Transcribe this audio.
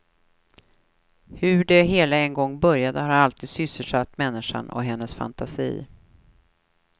Hur det hela en gång började har alltid sysselsatt människan och hennes fantasi.